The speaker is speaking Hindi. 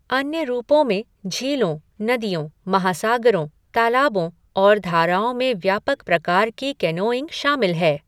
अन्य रूपों में झीलों, नदियों, महासागरों, तालाबों और धाराओं में व्यापक प्रकार की कैनोइंग शामिल है।